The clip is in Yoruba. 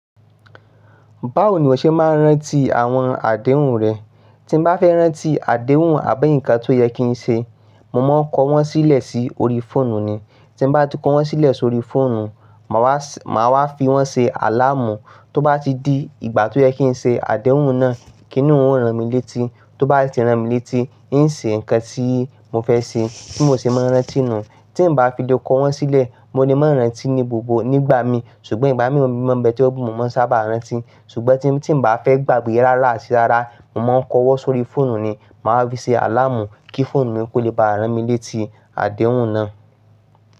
Báwo ni o ṣe máa ń rántí àwọn àdéhùn rẹ? Tí mo bá fẹ́ rántí àdéhùn àbí ǹkan tó yẹ kí n ṣe, mo máa ń kọ wọ́n sílẹ̀ sí orí fóònù ni. Tin bá ti kọ wọ́n sílẹ̀ sórí fóònù, màá wá fi wọ́n ṣe àláàmù. Tó bá ti di ìgbà tó yẹ kín ṣe àdéhùn náà, kí ni ó ń ran mi létí. Tó bá ti ran mi létí, n ṣe ǹkan tí mo fẹ́ ṣe, bi mọ ti maa n rántí nu Tín bá fi le kọ wọ́n sílẹ̀, mo lè máa rántí ní gbogbo, nígbà mi. Ṣùgbọ́n ìgbà mìíràn mọ̀ bẹ̀ tí ó mú, mo máa n sábà rántí. Ṣùgbọ́n tín bá fẹ́ gbàgbé rárá àti rárá, mo máa ń kọ wọ́n sórí fóònù ni. Màá fi ṣe àláàmù kí fóònù mi kó lè bá ran mi létí àdéhùn náà.